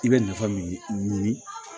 I bɛ nafa min ɲini